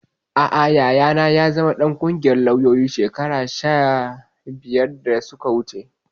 Aa, Yayana ya zama ɗan ƙungiyar lauyoyin Najeriya shekaru biyar da suka wuce